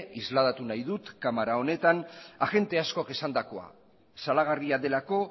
isladatu nahi dut ere kamara honetan agente askok esandakoa salagarria delako